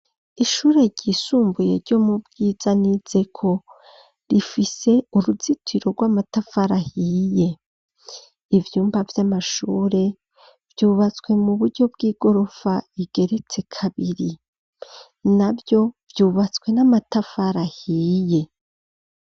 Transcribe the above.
Ishure ryisumbuye ryo mu Bwiza nizeko rifise uruzitiro rw'amatafari ahiye, ivyumba vy'amashure vyubatswe mu buryo bw'igorofa igeretse kabiri, naryo ryubatswe n'amatafari ahiye.